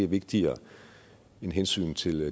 vigtigere end hensynet til